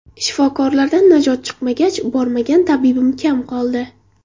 Shifokorlardan najot chiqmagach, bormagan tabibim kam qoldi.